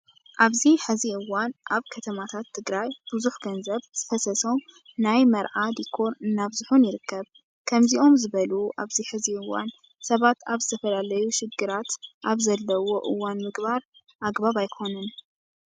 ኣብዚ ሕዚ እዋን ኣብ ከተማታት ትግርይ ብዙሕ ገንዘብ ዝፈሰሶም ናይ መርዓ ዶኮር እናበዝሑን ይርከብ። ከምዝኦም ዝበሉ ኣብዚ ሕዚ እዋን ሰባት ኣብ ዝተፈላለዩ ሽግራት ኣብ ዘለውሉ እዋን ምግባር ኣግባብ ኣይኾነን።